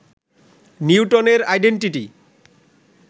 নিউটনের আইডেনটিটি